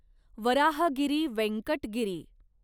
Varahagiri Venkata Giri